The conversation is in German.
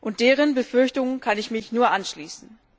Und deren Befürchtungen kann ich mich nur anschließen.